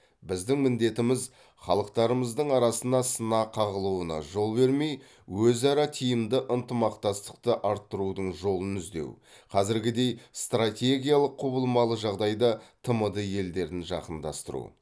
біздің міндетіміз халықтарымыздың арасына сына қағылуына жол бермей өзара тиімді ынтымақтастықты арттырудың жолын іздеу қазіргідей стартегиялық құбылмалы жағдайда тмд елдерін жақындастыру